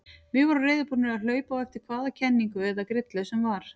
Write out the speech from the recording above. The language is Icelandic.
Við vorum reiðubúnir að hlaupa á eftir hvaða kenningu eða grillu sem var.